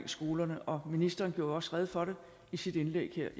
skolerne og ministeren jo også rede for det i sit indlæg her